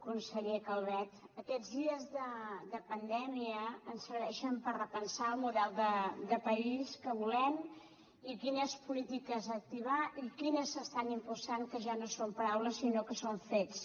conseller calvet aquests dies de pandèmia ens serveixen per repensar el model de país que volem i quines polítiques activar i quines s’estan impulsant que ja no són paraules sinó que són fets